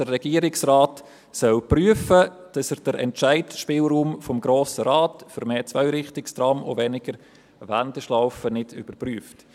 Der Regierungsrat soll prüfen, ob er den Entscheidungsspielraum des Grossen Rates für mehr Zweirichtungstrams und weniger Wendeschlaufen überprüft.